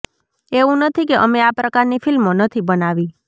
એવુ નથી કે અમે આ પ્રકારની ફિલ્મો નથી બનાવી